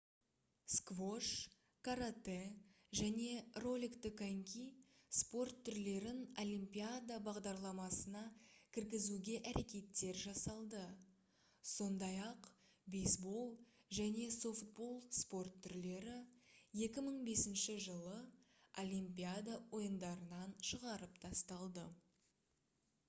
сквош каратэ және роликті коньки спорт түрлерін олимпиада бағдарламасына кіргізуге әрекеттер жасалды сондай-ақ бейсбол және софтбол спорт түрлері 2005-жылы олимпиада ойындарынан шығарып тасталды